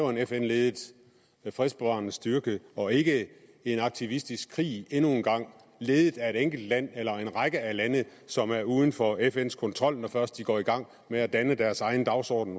en fn ledet fredsbevarende styrke og ikke en aktivistisk krig endnu en gang ledet af et enkelt land eller en række lande som er uden for fns kontrol når først de undervejs går i gang med at danne deres egen dagsorden